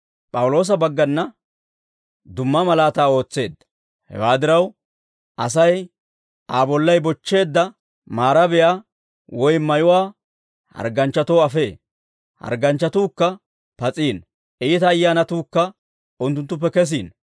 Hewaa diraw, Asay Aa bollay bochcheedda maarabiyaa woy mayuwaa hargganchchatoo afee; hargganchchatuukka pas'iino; iita ayyaanatuukka unttunttuppe kesiino.